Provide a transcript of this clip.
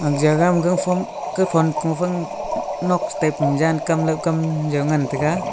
aga jaga ma gangphom kathon kuphan nok che tai pu jankam laokam jao ngan taiga.